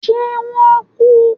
ṣe wọn n ku?